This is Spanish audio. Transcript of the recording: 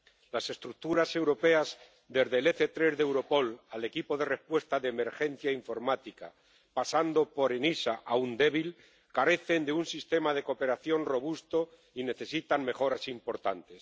Las estructuras europeas, desde el EC3 de Europol al Equipo de Respuesta de Emergencia Informática, pasando por ENISA, aún débil, carecen de un sistema de cooperación robusto y necesitan mejoras importantes.